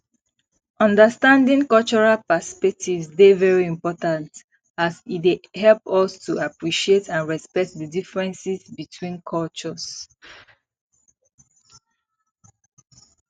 understanding cultural perspectives dey very important as e as e dey help us to appreciate and respect di differences between cultures